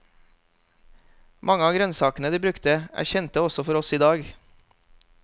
Mange av grønnsakene de brukte er kjente også for oss i dag.